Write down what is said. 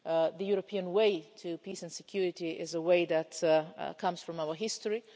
The European way to peace and security is a way that comes from our history.